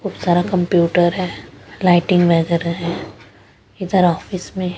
बहुत सारा कंप्यूटर है लाइटिंग वगैरह है इधर ऑफिस में--